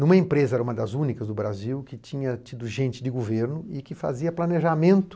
Em uma empresa, uma das únicas do Brasil, que tinha tido gente de governo e que fazia planejamento